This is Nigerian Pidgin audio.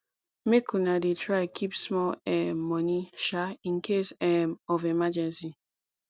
make una dey try keep small um moni um in case um of emergency